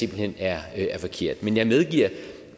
hen er forkert men jeg medgiver